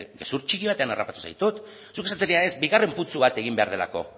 gezur txiki batean harrapatu zaitut zuk esan zenidan ez bigarren putzu bat egin behar delako